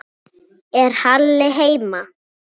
Er Halli heima?